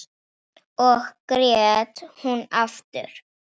Þá grét hún aftur.